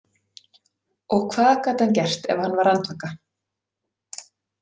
Og hvað gat hann gert ef hann var andvaka?